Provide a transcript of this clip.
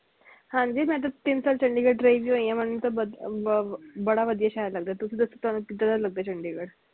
ਹਾਂਜੀ ਮੈਂ ਤੇ ਤਿੰਨ ਸਾਲ ਚੰਡੀਗੜ੍ਹ ਰਹੀ ਵੀ ਹੋਈ ਮੈਨੂੰ ਤੇ ਅਹ ਬੜਾ ਵਧਿਆ ਸ਼ਹਿਰ ਲੱਗਦਾ ਤੁਸੀ ਦਸੋ ਤੁਹਾਨੂੰ ਕਿੱਦਾਂ ਦਾ ਲਗਾ ਚੰਡੀਗੜ੍ਹ